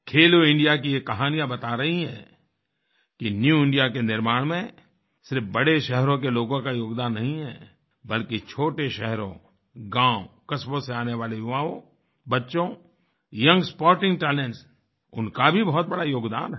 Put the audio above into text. खेलो India की ये कहानियाँ बता रही है कि न्यू इंडिया के निर्माण में सिर्फ बड़े शहरों के लोगों का योगदान नहीं है बल्कि छोटे शहरों गाँव कस्बों से आने वाले युवाओंबच्चों यंग स्पोर्टिंग talentsउनका भी बहुत बड़ा योगदान है